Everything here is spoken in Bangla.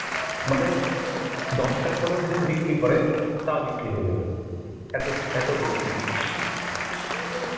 মানে দশটার পরেও যদি বিক্রি করে তাও বিক্রি হয়ে যাবে. এত~ এত বিক্রি.